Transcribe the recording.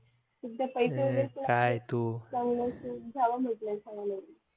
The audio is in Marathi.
जावं म्हटलं आता